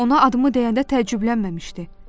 Ona adımı deyəndə təəccüblənməmişdi.